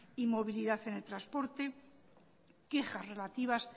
y movilidad en el transporte quejas relativas